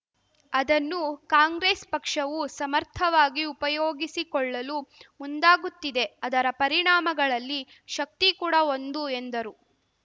ಅದನ್ನು ಕಾಂಗ್ರೆಸ್‌ ಪಕ್ಷವೂ ಸಮರ್ಥವಾಗಿ ಉಪಯೋಗಿಸಿಕೊಳ್ಳಲು ಮುಂದಾಗುತ್ತಿದೆ ಅದರ ಪರಿಣಾಮಗಳಲ್ಲಿ ಶಕ್ತಿ ಕೂಡ ಒಂದು ಎಂದರು